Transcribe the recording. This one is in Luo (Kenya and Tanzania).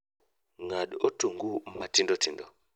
Ng'ad otungu matindotindo